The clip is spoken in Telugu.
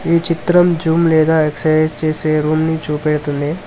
ఈ చిత్రం జుమ్ లేదా ఎక్సర్సైజ్ చేసే రూమ్ ను చూపెడుతుంది.